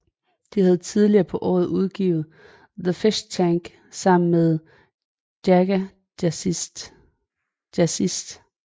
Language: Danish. De havde tidligere på året udgivet In The Fishtank sammen med Jaga Jazzist